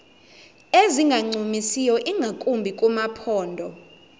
ezingancumisiyo ingakumbi kumaphondo